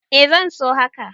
Eh zan so haka.